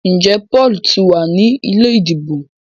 Njé Paul tí wá ní ilé ìdìbò?